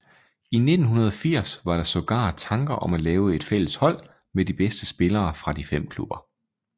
I 1980 var der sågar tanker om at lave et fælles hold med de bedste spillere fra de fem klubber